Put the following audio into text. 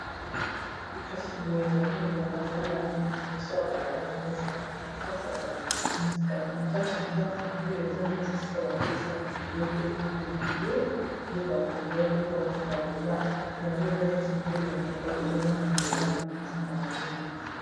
Kasi boye ezali ni balabala liboso ya balabala eza esika na kati ya ndako yango oyo eza neti esika batekisaka biloko biloko ebele biloko ya kolia biloko ya kopakola yango eza neti mbula enokaki ezomona nzela wana mpe eza mabe mingi.